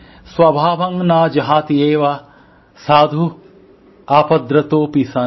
স্বভাবং ন জহাতি এব সাধুঃ আপদ্রতোপী সন